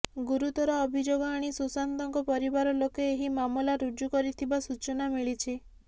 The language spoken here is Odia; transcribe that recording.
ଗୁରୁତର ଅଭିଯୋଗ ଆଣି ସୁଶାନ୍ତଙ୍କ ପରିବାର ଲୋକେ ଏହି ମାମଲା ରୁଜୁ କରିଥିବା ସୂଚନା ମିଳିଛି